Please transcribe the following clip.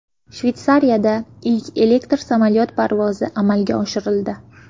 Shveysariyada ilk elektr samolyot parvozi amalga oshirildi.